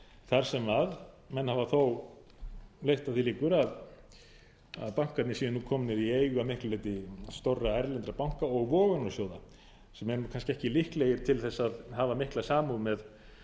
þar sem menn hafa þó leitt að því líkur að bankarnir séu nú komnir í eigu að miklu leyti stórra erlendra banka og vogunarsjóða sem eru kannski ekki líklegir til þess að hafa mikla samúð með